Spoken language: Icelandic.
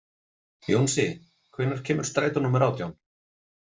Jónsi, hvenær kemur strætó númer átján?